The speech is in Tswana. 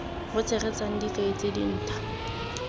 bo tshegetsang dikai tse dintha